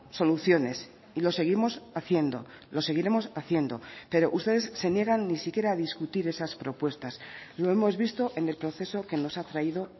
soluciones y lo seguimos haciendo lo seguiremos haciendo pero ustedes se niegan ni siquiera a discutir esas propuestas lo hemos visto en el proceso que nos ha traído